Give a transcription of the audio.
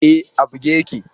E, a buge yake.